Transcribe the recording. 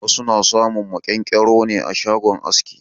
Wasu na samun maƙyan-ƙyaro ne a shagon aski.